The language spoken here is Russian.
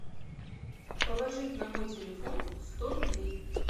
положить на мой телефон сто рублей